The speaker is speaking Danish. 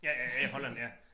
Ja ja ja Holland ja